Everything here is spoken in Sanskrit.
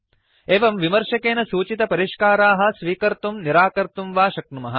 एवं विमर्शकेन सूचितपरिष्काराः स्वीकर्तुं निराकर्तुं वा शक्नुमः